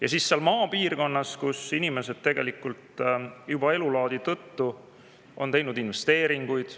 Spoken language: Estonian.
Aga maapiirkonnas on inimesed tegelikult juba elulaadi tõttu teinud investeeringuid.